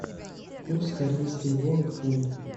курс корейской воны к фунту